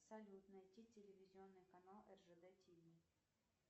салют найти телевизионный канал ржд тв